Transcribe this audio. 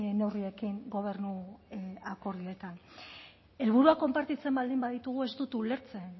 neurriekin gobernu akordioetan helburua konpartitzen baldin baditugu ez dut ulertzen